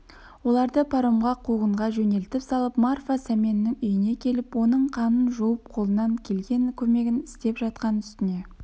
оларды паромға қуғынға жөнелтіп салып марфа сәменнің үйіне келіп оның қанын жуып қолынан келген көмегін істеп жатқан үстіне